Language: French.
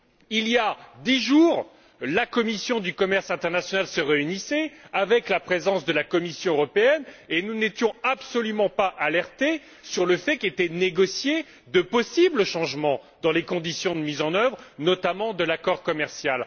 Il y a dix jours, la commission du commerce international se réunissait en la présence de la Commission européenne et nous n'étions absolument pas alertés sur le fait qu'étaient négociés de possibles changements dans les conditions de mise en œuvre, notamment de l'accord commercial.